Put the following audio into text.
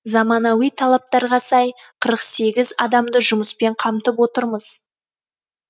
заманауи талаптарға сай қырық сегіз адамды жұмыспен қамтып отырмыз